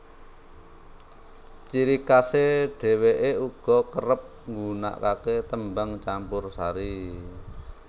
Ciri khasè dhewèkè uga kerep nggunakakè tembang campursari